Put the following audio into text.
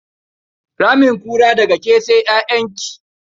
Ramin kura, daga ke sai ƴaƴanki.